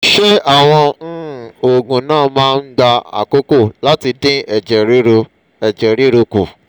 ṣé àwọn um oògùn náà máa ń gba àkókò láti dín ẹ̀jẹ̀ ruru ẹ̀jẹ̀ ruru kù?